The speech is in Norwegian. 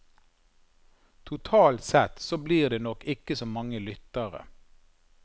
Totalt sett så blir det nok ikke så mange lyttere.